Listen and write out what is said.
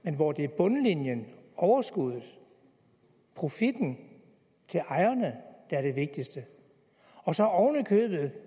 men hvor det er bundlinjen overskuddet profitten til ejerne og så